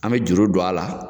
An bɛ juru don a la.